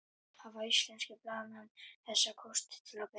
Hafa íslenskir blaðamenn þessa kosti til að bera?